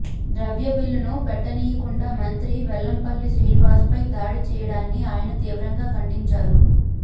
ద్రవ్యబిల్లును పెట్టనీయకుండా మంత్రి వెల్లంపల్లి శ్రీనివాస్పై దాడి చేయడాన్ని ఆయన తీవ్రంగా ఖండించారు